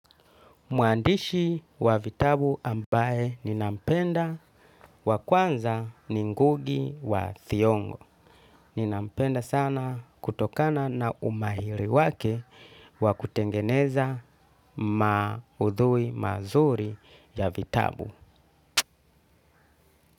Muandishi wa vitabu ambaye ni nampenda wa kwanza ni ngugi wa thiong'o. Ni nampenda sana kutokana na umahiri wake wa kutengeneza maudhui mazuri ya vitabu.